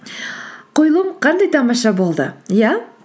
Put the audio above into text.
қойылым қандай тамаша болды иә